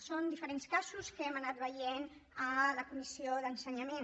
són diferents casos que hem anat veient a la comissió d’ensenyament